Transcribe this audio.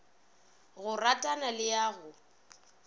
go rarana le ya go